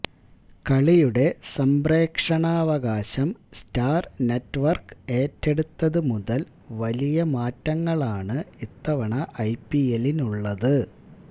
കളിയുടെ സംപ്രേക്ഷണാവകാശം Star network ഏറ്റെടുത്തത് മുതല് വലിയ മാറ്റങ്ങളാണ് ഇത്തവണ ഐ പി എല്ലിനുള്ളത്